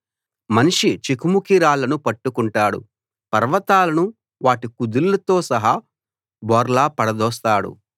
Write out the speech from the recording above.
మనిషి చెకుముకి రాళ్ళను పట్టుకుంటాడు పర్వతాలను వాటి కుదుళ్లతో సహా బోర్లా పడదోస్తాడు